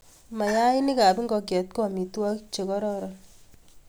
Mayaikab ngokyet ko amitwokik che kororon